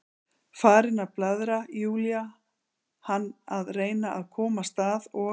Farin að blaðra, Júlía, hann að reyna að komast að, og